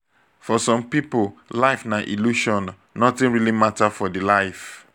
for some pipo life na illusion nothing really matter for di life